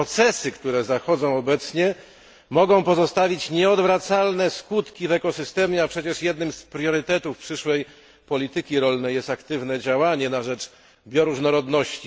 Procesy, które zachodzą obecnie, mogą pozostawić nieodwracalne skutki w ekosystemie, a przecież jednym z priorytetów przyszłej polityki rolnej jest aktywne działanie na rzecz bioróżnorodności.